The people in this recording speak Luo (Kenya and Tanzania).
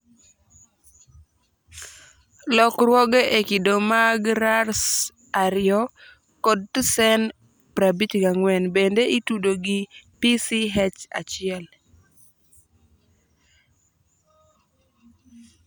Lokruoge e kido mag RARS2 kod TSEN54 bende itudo gi PCH1